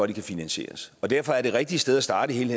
de kan finansieres og derfor er det rigtige sted at starte i hele